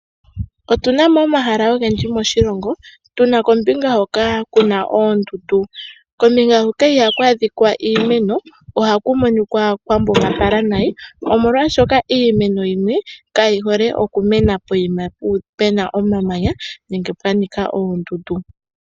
Otuna mo omahala ogendji moshilongo, tuna kombinga hoka kuna oondundu. Kombinga ndjoka ihaku adhika iimeno, ohaku monika kwa mbugalala nayi omolwa shoka iimeno yimwe ka yi hole okumena pomahala mpoka puna omamanya nenge oondundu.